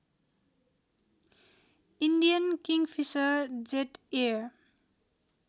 Indian Kingfisher Jet Air